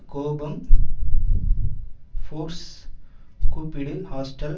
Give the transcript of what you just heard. கோபம் ஃபோர்ஸ் கூப்பிடு ஹாஸ்டல்